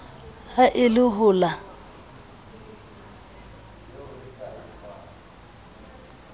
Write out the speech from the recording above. ha e le ho la